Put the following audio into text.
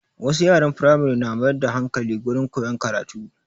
Wasu yaran Firamare na mayar da hankali gurin koyan karatu